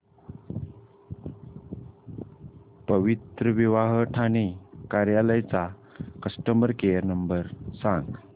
पवित्रविवाह ठाणे कार्यालय चा customer care number सांग